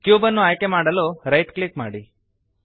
cube ಅನ್ನು ಆಯ್ಕೆಮಾಡಲು right click ಮಾಡಿ